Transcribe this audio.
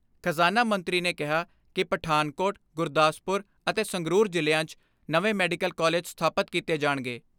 ਖਜ਼ਾਨਾ ਮੰਤਰੀ ਨੇ ਕਿਹਾ ਕਿ ਪਠਾਨਕੋਟ, ਗੁਰਦਾਸਪੁਰ ਅਤੇ ਸੰਗਰੂਰ ਜ਼ਿਲ੍ਹਿਆਂ 'ਚ ਨਵੇਂ ਮੈਡੀਕਲ ਕਾਲਿਜ ਸਥਾਪਤ ਕੀਤੇ ਜਾਣਗੇ।